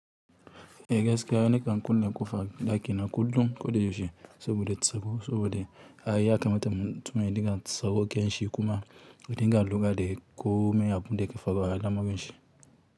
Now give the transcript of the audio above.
E gaskiya na kan kulle ƙofan ɗakina kullum ko da yaushe saboda tsaro saboda ai ya kamata mutum dinga tsawa kyan shi kuma ya dinga lura da yadda kome a bunda yake faruwa a alamarin shi.